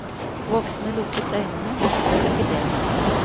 Voksne lukket øynene, men gjør ikke det lengre.